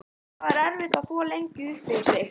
Það var erfitt að þvo lengi upp fyrir sig.